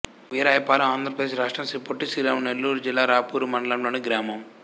వీరాయపాలెం ఆంధ్ర ప్రదేశ్ రాష్ట్రం శ్రీ పొట్టి శ్రీరాములు నెల్లూరు జిల్లా రాపూరు మండలం లోని గ్రామం